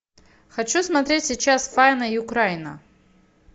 хочу смотреть сейчас файна юкрайна